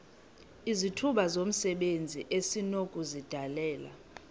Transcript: izithuba zomsebenzi esinokuzidalela